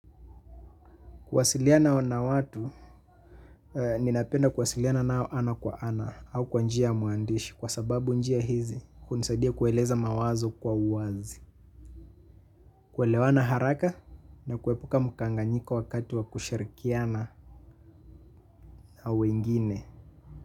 Kuwasiliana na watu, ninapenda kwasiliana nao ana kwa ana au kwa njia ya uandishi kwa sababu njia hizi hunisadia kueleza mawazo kwa uwazi, kuelewana haraka na kuepuka mkanganyiko wakati wa kusharikiana na wengine.